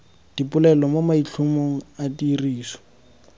dipolelo mo maitlhomong a tiriso